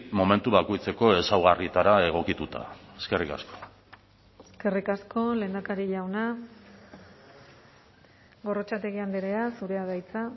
momentu bakoitzeko ezaugarrietara egokituta eskerrik asko eskerrik asko lehendakari jauna gorrotxategi andrea zurea da hitza